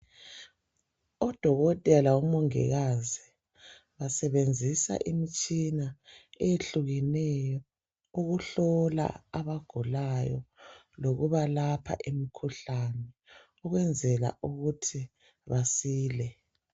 Odokotela labo mongikazi basebenzisa imitshina eyehlukeneyo ukuhlola abagulayo lokubalapha imikhuhlane, ukwenzela ukuthi basile.